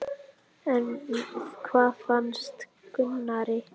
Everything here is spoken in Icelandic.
En hvað fannst Gunnari?